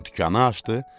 Dükana açdı.